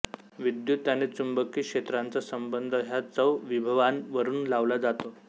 विद्युत आणि चुंबकी क्षेत्रांचा संबंध ह्या चौविभवांवरून लावला जातो